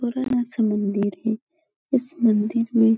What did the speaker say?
पुराना सा मंदिर है। इस मंदिर में --